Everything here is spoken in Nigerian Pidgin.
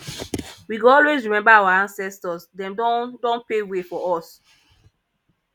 we go always remember our ancestors dem don don pave way for us